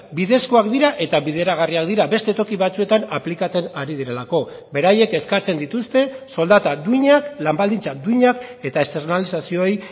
bidezkoak dira eta bideragarriak dira beste toki batzuetan aplikatzen ari direlako beraiek eskatzen dituzte soldata duinak lan baldintza duinak eta externalizazioei